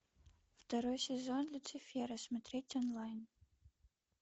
второй сезон люцифера смотреть онлайн